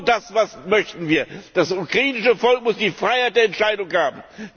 Nur das möchten wir Das ukrainische Volk muss die Freiheit der Entscheidung haben!